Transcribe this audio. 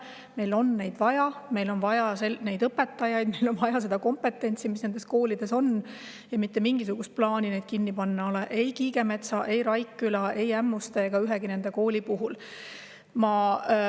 Meil on neid vaja, meil on vaja neid õpetajaid, meil on vaja seda kompetentsi, mis nendes koolides on, ja mitte mingisugust plaani neid kinni panna ei ole – ei Kiigemetsa Kooli, ei Raikküla Kooli, ei Ämmuste Kooli ega ühtegi teist kooli nende hulgas.